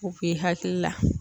U b'i hakili la